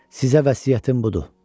Sizə vəsiyyətim budur.